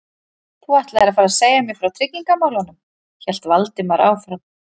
Þú ætlaðir að fara að segja mér frá tryggingamálunum- hélt Valdimar áfram.